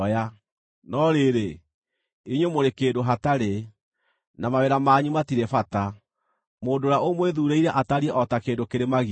No rĩrĩ, inyuĩ mũrĩ kĩndũ hatarĩ, na mawĩra manyu matirĩ bata; mũndũ ũrĩa ũmwĩthuurĩire atariĩ o ta kĩndũ kĩrĩ magigi.